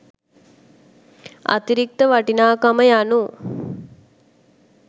අතිරික්ත වටිනාකම යනු